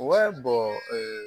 Wa